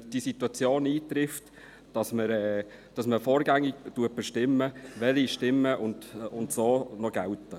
Wenn diese Situation eintrifft, würde man vorgängig bestimmen, welche Stimmen noch gelten.